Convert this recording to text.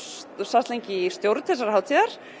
sast lengi í stjórn hátíðarinnar